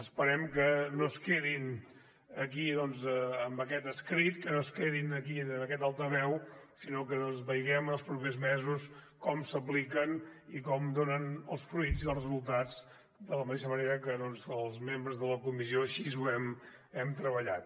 esperem que no es quedin aquí doncs en aquest escrit que no es quedin aquí en aquest altaveu sinó que vegem els propers mesos com s’apliquen i com donen els fruits i els resultats de la mateixa manera que els membres de la comissió així ho hem treballat